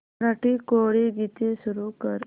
मराठी कोळी गीते सुरू कर